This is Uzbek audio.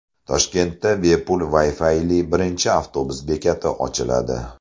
Toshkentda bepul Wi-Fi’li birinchi avtobus bekati ochiladi.